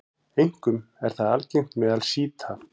Einkum er það algengt meðal sjíta.